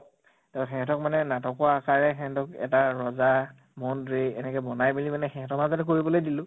তʼ সেহেঁতক মানে নাটকৰ আকাৰে সেহেঁতক এটা ৰজা, মন্ত্ৰী এনেকে বনাই মেলি পেলাই মানে সিহঁতৰ মাজতে কৰিবলৈ দিলো ।